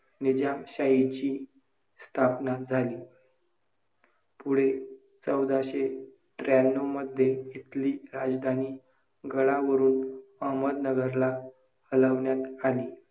निजामशाहीची स्थापना झाली. पुढे चौदाशे त्र्याण्णवमध्ये इथली राजधानी गडावरून अहमदनगरला हलवण्यात आली.